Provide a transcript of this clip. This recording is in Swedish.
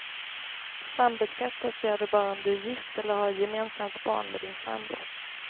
Sambeskattas gör du bara om du är gift eller har gemensamt barn med din sambo.